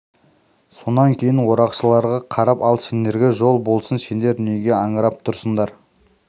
сонан кейін орақшыларға қарап ал сендерге жол болсын сендер неге аңырып тұрсыңдар